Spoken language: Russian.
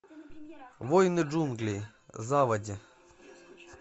воины джунглей заводи